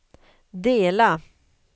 dela